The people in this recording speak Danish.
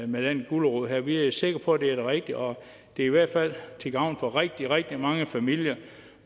med den gulerod her vi er sikre på at det er det rigtige og det er i hvert fald til gavn for rigtig rigtig mange familier